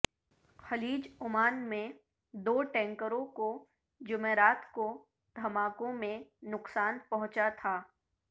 خلیج عمان میں دو ٹینکروں کو جمعرات کو دھماکوں میں نقصان پہنچا تھا